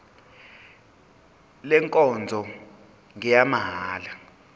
le nkonzo ngeyamahala